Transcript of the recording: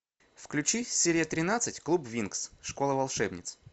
включи серия тринадцать клуб винкс школа волшебниц